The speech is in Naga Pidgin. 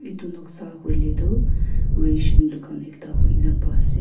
itu noksa hoile tu ration dukan ekta hoina pai ase.